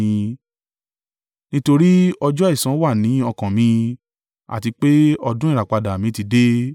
Nítorí ọjọ́ ẹ̀san wà ní ọkàn mi àti pé ọdún ìràpadà mi ti dé.